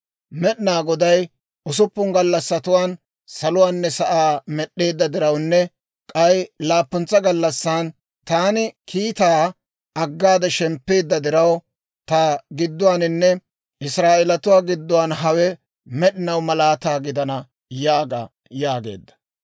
Med'inaa Goday usuppun gallassatuwaan saluwaanne sa'aa med'd'eedda dirawunne k'ay laappuntsa gallassan taani kiitaa aggaade shemppeedda diraw, ta gidduwaaninne Israa'eelatuu gidduwaan hawe med'inaw malaata gidana› yaaga» yaageedda.